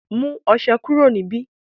mú ọṣẹ kúrò níbí